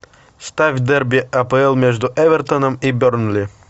ставь дерби апл между эвертоном и бернли